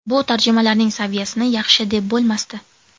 Bu tarjimalarning saviyasini yaxshi deb bo‘lmasdi.